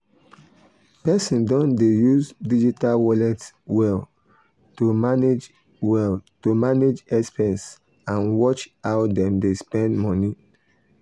people don dey use digital wallet well to manage well to manage expense and watch how dem dey spend money.